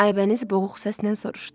Aybəniz boğuq səslə soruşdu.